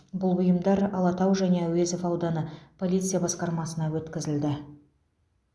бұл бұйымдар алатау және әуезов ауданы полиция басқармасына өткізілді